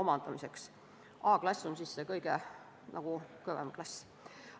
A-klass on see kõige kõvem klass.